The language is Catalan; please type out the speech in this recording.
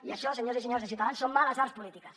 i això senyors i senyores de ciutadans són males arts polítiques